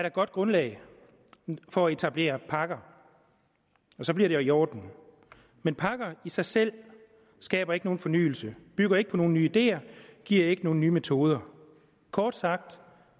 et godt grundlag for at etablere pakker så bliver det jo i orden men pakker i sig selv skaber ikke nogen fornyelse bygger ikke på nogen nye ideer giver ikke nogen nye metoder kort sagt